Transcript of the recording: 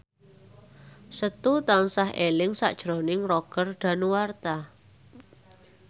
Setu tansah eling sakjroning Roger Danuarta